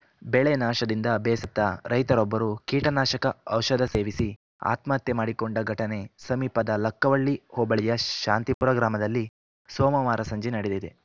ಬೆಳೆ ನಾಶದಿಂದ ಬೇಸತ್ತ ರೈತರೊಬ್ಬರು ಕೀಟನಾಶಕ ಔಷಧ ಸೇವಿಸಿ ಆತ್ಮಹತ್ಯೆ ಮಾಡಿಕೊಂಡ ಘಟನೆ ಸಮೀಪದ ಲಕ್ಕವಳ್ಳಿ ಹೋಬಳಿಯ ಶಾಂತಿಪುರ ಗ್ರಾಮದಲ್ಲಿ ಸೋಮವಾರ ಸಂಜೆ ನಡೆದಿದೆ